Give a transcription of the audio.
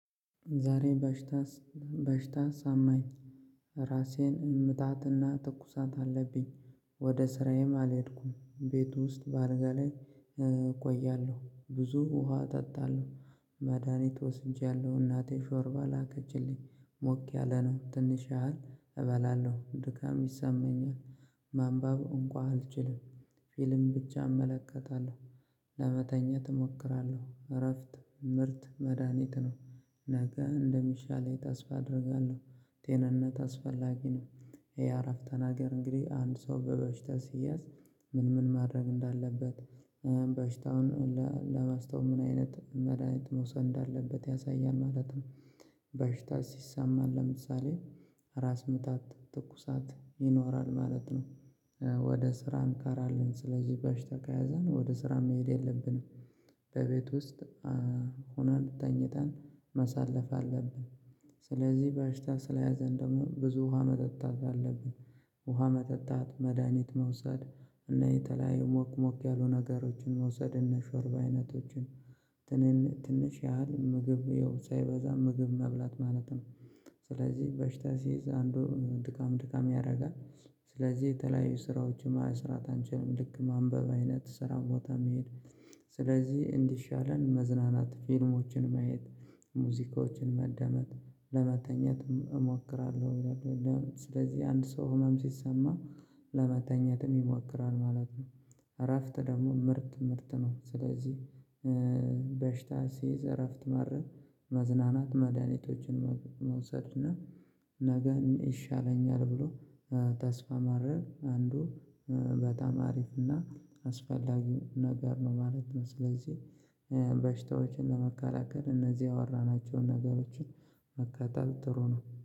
ዛሬ በሽታ በሽታ ሲያመኝ ራስ ምታትና ትኩሳት አለብኝ። ወደ ስራዬም አልሄድኩም። ቤት ውስጥ በአልጋ ላይ እቆያለ፤ ብዙ ውሃ እጠጣለሁ፤ መድሃኒት ወስጃለሁ፤ እናቴ ሾርባ ላከችልኝ ሞቅ ያለ ነው ትንሽ ያህል እበላለሁ፤ ድካም ይሰማኛል። ማንበብ እንኳን አልችልም ፊልም ብቻ እመለከታለሁ። ለመተኛት እሞክራለሁ፤ እረፍት ምርጥ መድሃኒት ነው፤ ነገ እንደሚሻለኝ ላይ ተስፋ አደርጋለሁ ቴንነት አስፈላጊ ነው የእአረፍ ናገር እንግዲህ አንድ ሰው በበሽታ ሲያዝ ምን ምን ማድረግ እንዳለበት በሽታውን ለማስተው ምን አይነት መድሃኒት መውሰድ እንዳለበት ያሳያል ማለት ነው። በሽታ ሲሰማን ለምሳሌ ራስ ምታት፤ ትኩሳት ይኖራል ማለት ነው ወደ ስራም እንቀራለን ስለዚህ በሽታ ከያዘን ወደ ስራ መሄድ የለብንም። በቤት ውስጥ ሆነን ተኝተን ማሳለፍ አለብን ስለዚህ በሽታ ስለያዘን ደግሞ ብዙ ውሃ መጠጣት አለብን። ውሃ መጠጣት፤ መድኃኒት መውሰድ፤ እና የተለያዩ ሞቅሞቅ ያሉ ነገሮችን መውሰድ እነ ሾርባ አይነት ነገሮችን ትንሽ ያህል ምግብ ያው ሳይበዛ ምግብ መብላት ማለት ነው። ስለዚህ በሽታ ሲይዝ አንዱ ድካም ድካም ያደርጋል። ስለዚህ የተለያዩ ስራዎች መስራት አንችልም ልክ ማንበብ አይነት ስራ ቦታ መሄድ ስለዚህ እንዲሻለን መዝናናት፤ ፊልሞችን ማየት፤ ሙዚቆችን መዳመጥ፤ ለመተኛትም እሞክራለሁ። ስለዚህ አንድ ሰው ህመም ሲሰማው ለመተኛትም ይሞክራል ማለት ነው። እረፍት ደግሞ ምጥት ምጥት ነው ስለዚህ በሽታ ሲይዝ እረፍት ማድረግ መዝናናት መድሃኒቶችን መውሰድ እና ነገ ይሻለኛል ብሎ ተስፋ ማድረግ፤ አንዱ በጣም አሪፍ እና አስፈላጊ ነገር ነው ማለት ነው። ስለዚህ በሽታዎችን ለመከላከል እነዚህ ያወራናቸውን ነገሮችን መከተል ጥሩ ነው።